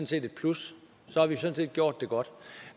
set et plus så har vi sådan set gjort det godt